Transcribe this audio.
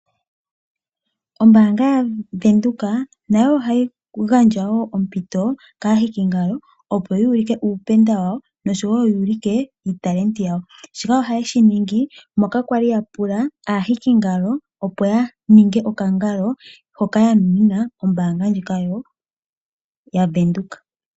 Ombaanga yaVenduka nayo ohayi gandja wo ompito kaahikingalo opo ya ulike uupenda wawo noshowo ya ulike iitalenti yawo. Shika ohaye shi ningi moka kwali ya pula aahikingalo opo ya ninge okangalo hoka ya nunina ombaanga ndjika yaVenduka.